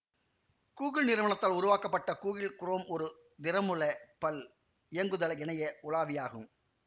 Google நிறுவனத்தால் உருவாக்கப்பட்ட Google Chrome ஒரு திறமூல பல் இயங்குதள இணைய உலாவியாகும்